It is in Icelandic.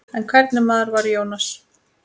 En hvernig maður var Jónas?